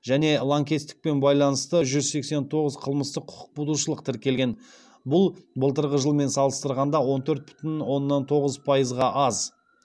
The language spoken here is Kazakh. және лаңкестікпен байланысты жүз сексен тоғыз қылмыстық құқықбұзушылық тіркелген бұл былтырғы жылмен салыстырғанда он төрт бүтін оннан тоғыз пайызға аз